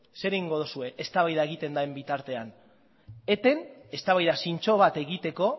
zer egingo duzue eztabaida egiten den bitartean eten eztabaida zintzo bat egiteko